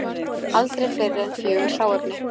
Aldrei fleiri en fjögur hráefni